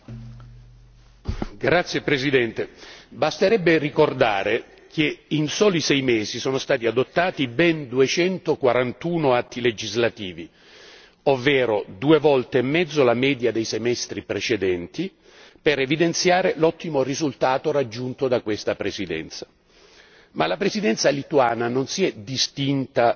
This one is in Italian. Signor Presidente, onorevoli colleghi, basterebbe ricordare che in soli sei mesi sono stati adottati ben 241 atti legislativi, ovvero due volte e mezzo la media dei semestri precedenti, per evidenziare l'ottimo risultato raggiunto da questa Presidenza. Ma la Presidenza lituana non si è distinta